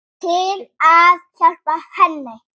Til að hjálpa henni.